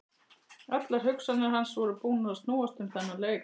Allar hugsanir hans voru búnar að snúast um þennan leik.